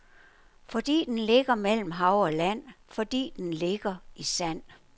Fordi den ligger mellem hav og land, fordi den ligger i sand.